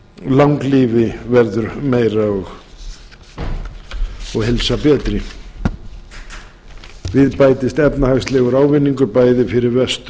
langlífi verður meira og heilsa betri við bætist efnahagslegur ávinningur bæði fyrir vestur